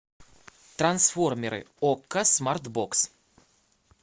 трансформеры окко смарт бокс